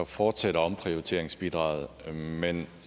fortsætter omprioriteringsbidraget men